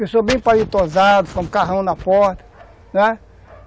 Pessoa bem palitosada, com um carrão na porta, né?